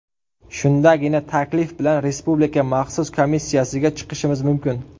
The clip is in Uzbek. Shundagina taklif bilan Respublika maxsus komissiyasiga chiqishimiz mumkin”.